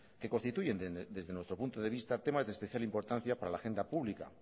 que constituyen desde nuestro punto de vista temas de especial importancia para la agenda pública